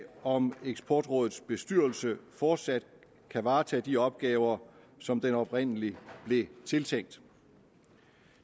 om eksportrådets bestyrelse fortsat kan varetage de opgaver som den oprindelig blev tiltænkt